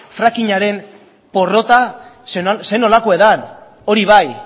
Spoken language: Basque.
fracking aren porrota ze nolakoa dan hori bai